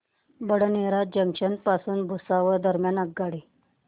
Badnera junction पासून भुसावळ दरम्यान आगगाडी